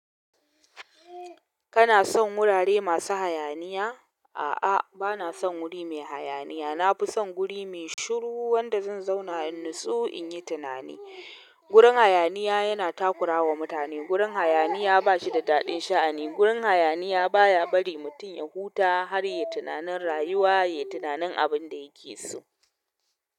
Kana son wurare masu hayaniya? A'a, bana son wuri mai hayaniya. Na fi son guri mai shiru wanda zan zauna in natsu in yi tunani. Gurin hayaniya yana takura wa mutane. Gurin hayaniya ba shi da daɗin sha'ani. Gurin hayaniya baya bari mutum ya huta har ya yi tunanin rayuwa, ya yi tunanin abin da yake so.